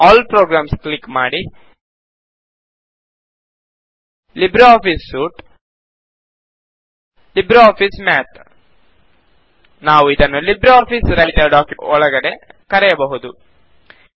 all programs click ಮಾಡಿ ಜಿಟಿಜಿಟಿ libre office suite ಜಿಟಿಜಿಟಿ ಲಿಬ್ರೆ ಆಫಿಸ್ ಮ್ಯಾತ್ ನಾವು ಇದನ್ನು ಲಿಬ್ರೆ ಆಫಿಸ್ ರೈಟರ್ ಡಾಕ್ಯುಮೆಂಟ್ ಒಳಗಡೆ ಕರೆಯಬಹುದು